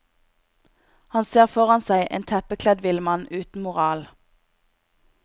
Han ser foran seg en teppekledd villmann uten moral.